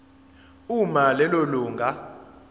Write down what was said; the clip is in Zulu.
uma lelo lunga